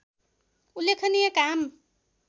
उल्लेखनीय काम